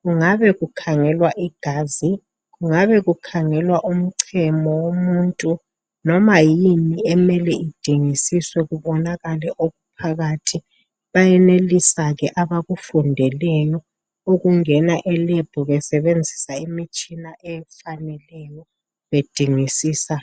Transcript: Kungabe kukhangelwa igazi, kungabe kukhanhelwa umnchemo womuntu, noma yini okumele itshengisiswe kubonakale okuphakathi. Bayenelisa ke abakufundeleyo ukungena eLab besebenzisa imitshina efaneleyo bedingisisa.